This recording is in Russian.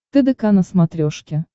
тдк на смотрешке